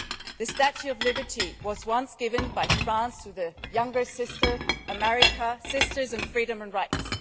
The Statue of Liberty was once given by France to the younger sister, America sisters in freedom and rights.